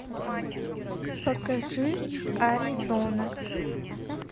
покажи аризона